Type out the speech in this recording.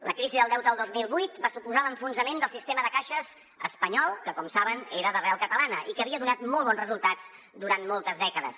la crisi del deute del dos mil vuit va suposar l’enfonsament del sistema de caixes espanyol que com saben era d’arrel catalana i que havia donat molt bons resultats durant moltes dècades